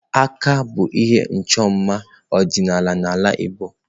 Akà bụ ihe ịchọ mma ọdịnala n'ala igbo.